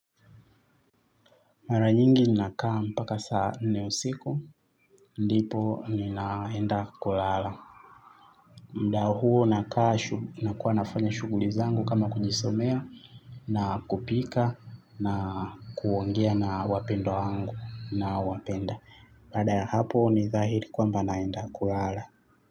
Mara nyingi nakaa mpaka saa nne usiku, ndipo ninaenda kulala. Mda huo nakaa, nakuwa nafanya shughuli zangu kama kujisomea, na kupika, na kuongea na wapendwa wangu ninaowapenda. Baada ya hapo ni dhahiri kwamba naenda kulala.